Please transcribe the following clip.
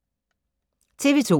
TV 2